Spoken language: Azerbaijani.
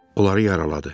Onları yaraladı.